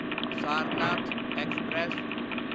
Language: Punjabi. ਸਾਰਨਾਥ ਐਕਸਪ੍ਰੈਸ